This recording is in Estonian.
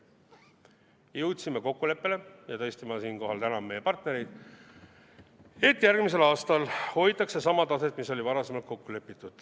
Jõudsime kokkuleppele – ja tõesti ma siinkohal tänan meie partnereid –, et järgmisel aastal hoitakse sama taset, mis oli varem kokku lepitud.